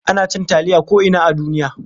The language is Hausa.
Ana cin taliya ko'ina a duniya.